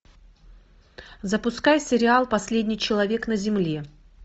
запускай сериал последний человек на земле